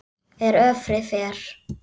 er öfri fer